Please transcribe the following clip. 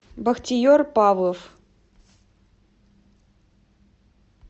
бахтиер павлов